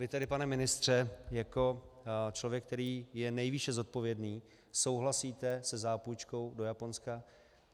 Vy tedy, pane ministře, jako člověk, který je nejvýše zodpovědný, souhlasíte se zápůjčkou do Japonska.